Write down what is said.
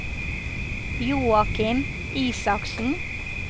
Joakim Isaksen